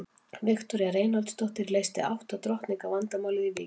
Viktoría Reinholdsdóttir leysti átta drottninga vandamálið í Vík.